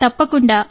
తప్పకుండా